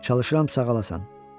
Çalışıram sağalasan.